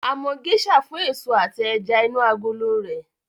A mọ Geisha fún èso àti ẹja inú agolo rẹ̀